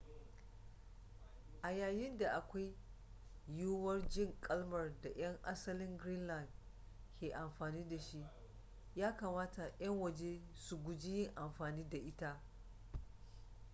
a yayin da akwai yiwuwar jin kalmar da 'yan asalin greenland ke amfani dashi ya kamata 'yan waje su guji yin amfani da ita